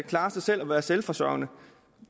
klare sig selv og være selvforsørgende